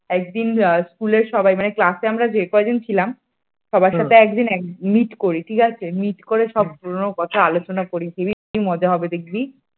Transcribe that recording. একদিন school সবাই মানে class আমরা যে কয়জন ছিলাম সবার সাথে একদিন meet করি ঠিক আছে meet করে সব পুরনো কথা আলোচনা করি seriously মজা হবে দেখবি?